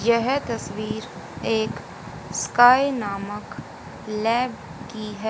यह तस्वीर एक स्काई नामक लैब की है।